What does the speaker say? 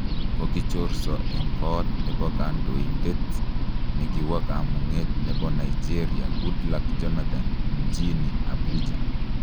Kogichorso eng' Koot nepo kandoindet nikiwo kamung'etnepo Nigeria GoodluckJonathan mjini Abuja.